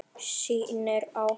Snýr á hann.